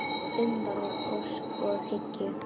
Umvafin ósk og hyggju.